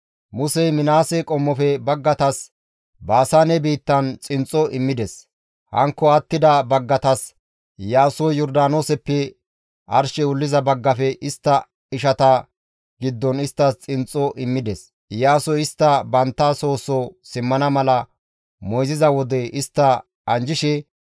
Musey Minaase qommofe baggatas Baasaane biittan xinxxo immides; hankko attida baggatas Iyaasoy Yordaanooseppe arshey wulliza baggafe istta ishata giddon isttas xinxxo immides. Iyaasoy istta bantta soo soo simmana mala moyziza wode istta anjjishe,